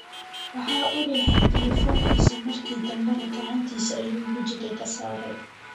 waxaa uu rixaay telefonkisa marki danbana gacantisa ayuu wajiga kasare.